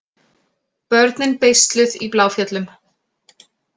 Börnin beisluð í Bláfjöllum